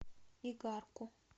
игарку